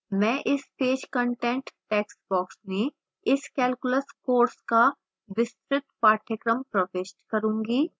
मैं इस page content textbox में इस calculus course का विस्तृत पाठ्यक्रम प्रविष्ट करूँगी